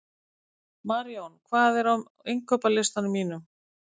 Marjón, hvað er á innkaupalistanum mínum?